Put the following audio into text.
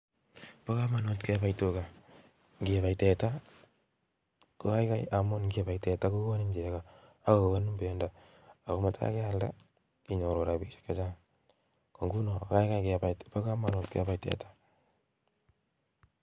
Pakamunut Kebai teta amun ngibai teta inyoru chepkondok chechang cheimuchi ipaisheeee